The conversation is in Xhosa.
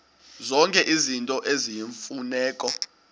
zonke izinto eziyimfuneko